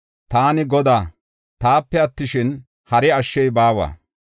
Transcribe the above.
Taani Godaa; taape attishin, hari ashshey baawa.